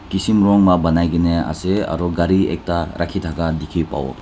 kism rong lah banai ke na ase aru gari ekta rakhi thaka dikhi pabo.